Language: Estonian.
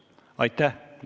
Aitäh!